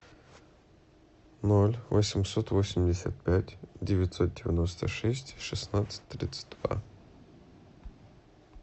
ноль восемьсот восемьдесят пять девятьсот девяносто шесть шестнадцать тридцать два